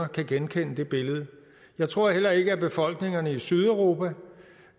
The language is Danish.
kan genkende det billede jeg tror heller ikke at befolkningerne i sydeuropa